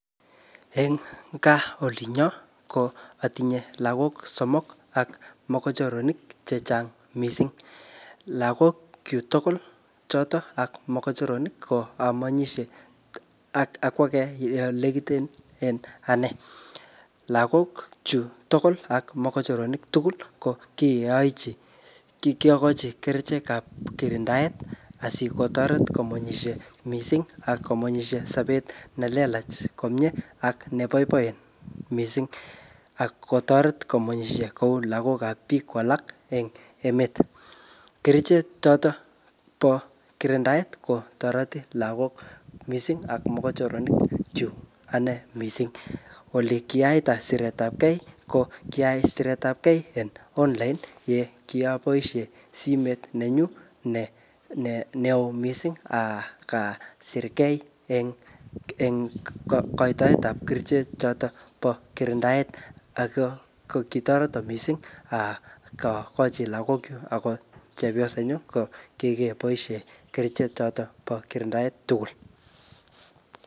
Eng gaa olinyo, ko atinye lagok somok ak mokochoronik chechang missing. Lagok chuk tugul chotok ak mokochoronik ko amanyishe ak-ak age ole nekiten en anee. Lagok chuk tugul ak mokochoronik tugul ko kiyooochi ki-kiyokochi kerichek ap kirindaet, asikotoret komunyishie missing ak komunyishie sobet ne lelach komyeee ak nebaibaen missing ak kotoret komunyishie kou lagok ap biik kou alak en emet. Kerichek chotok bo kirindaet kotoreti lagok missing ak mokochoronik chuk anee missing. Ole kiyaita siretapkei ko kiayai siretapkei en online ye kiaboisie simet nenyu ne neo missing aka asirkei eng-eng kaitoet ap kerichek chotok po kirindaet, ako kokitoreto missing akochi lagok chuk akot chepyoset nyu ko kikeboisie kerichek chotok bo kirindaet tugul.